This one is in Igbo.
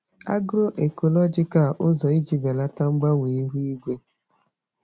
Agro-ecological ụzọ iji belata mgbanwe ihu igwe